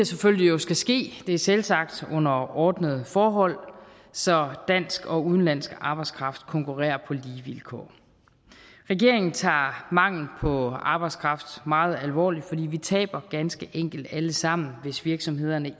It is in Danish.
selvfølgelig skal ske det er selvsagt under ordnede forhold så dansk og udenlandsk arbejdskraft konkurrerer på lige vilkår regeringen tager manglen på arbejdskraft meget alvorligt for vi taber ganske enkelt alle sammen hvis virksomhederne